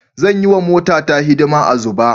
Zan yi wa motata hidima a Zuba.